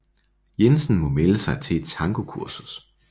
Jensen må melde sig til et tangokursus